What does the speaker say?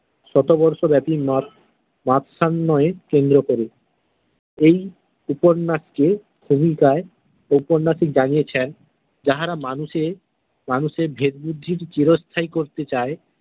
শতবর্ষ ব্যাপি মাৎস্যন্যায় এর কেন্দ্র করে এই উপন্যাসকে উপন্যাসিক জানিয়েছেন যাহারা মানুষের মানুষের ভেদবুদ্ধির চিরস্থায়ী করতে চাই।